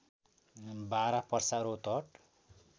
Bara Parsa Rautahat